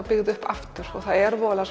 byggð upp aftur og það er voðalega